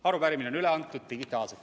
Arupärimine on üle antud digitaalselt.